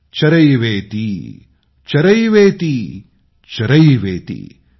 चरैवेति चरैवेति चरैवेति ।